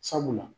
Sabula